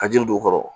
Ka jiri don u kɔrɔ